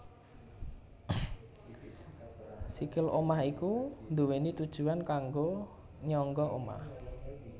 Sikil omah iku duwéni tujuwan kanggo nyangga omah